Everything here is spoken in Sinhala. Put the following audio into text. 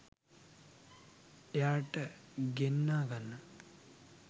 එහාට ගෙන්නා ගන්න.